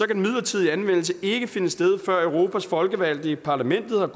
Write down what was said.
den midlertidige anvendelse ikke finde sted før europas folkevalgte i parlamentet har